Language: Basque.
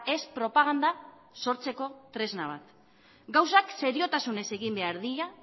ez propaganda sortzeko tresna bat gauzak seriotasunez egin behar dira